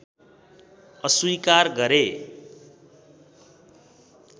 अस्वीकार गरे